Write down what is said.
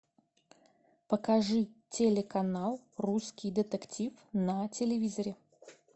покажи телеканал русский детектив на телевизоре